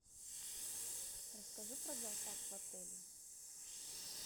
расскажи про зоопарк в отеле